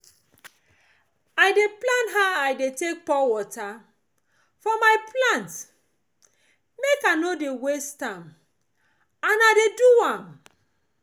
i dey plan how i dey pour water for my plant make i no dey waste am and i dey do am